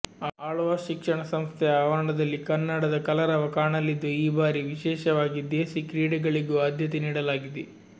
ಆಳ್ವಾಸ್ ಶಿಕ್ಷಣ ಸಂಸ್ಥೆಯ ಆವರಣದಲ್ಲಿ ಕನ್ನಡದ ಕಲರವ ಕಾಣಲಿದ್ದು ಈ ಭಾರಿ ವಿಶೇಷವಾಗಿ ದೇಸಿ ಕ್ರೀಡೆಗಳಿಗೂ ಆದ್ಯತೆ ನೀಡಲಾಗಿದೆ